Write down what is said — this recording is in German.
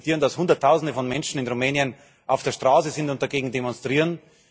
Wir respektieren, dass Hunderttausende von Menschen in Rumänien auf der Straße sind und dagegen demonstrieren.